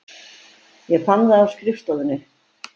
Ég fann það á skrifstofunni.